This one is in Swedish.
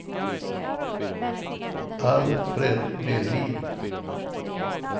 Alfred Melin